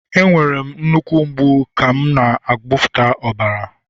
Enwere m nnukwu mgbu ka m na-agbapụta ọbara